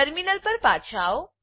terminal પર પાછા આવો